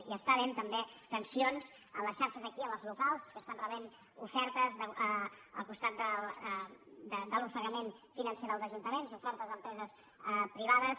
i hi ha també tensions a les xarxes d’aquí a les locals que reben ofertes al costat de l’ofegament financer dels ajuntaments d’empreses privades